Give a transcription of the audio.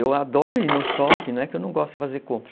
Eu adoro ir no shopping, não é que eu não gosto de fazer compra.